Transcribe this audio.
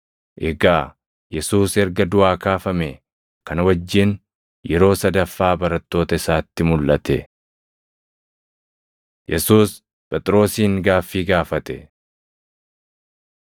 Egaa Yesuus erga duʼaa kaafamee, kana wajjin yeroo sadaffaa barattoota isaatti mulʼate. Yesuus Phexrosin Gaaffii Gaafate